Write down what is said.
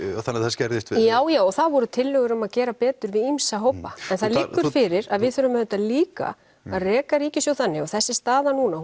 þannig þær skerðist við já já og það voru tillögur um að gera betur við ýmsa hópa en það liggur fyrir að við þurfum auðvitað líka að reka ríkissjóð þannig og þessi staða núna